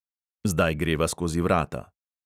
Zdaj greva skozi vrata.